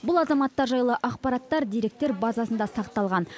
бұл азаматтар жайлы ақпараттар деректер базасында сақталған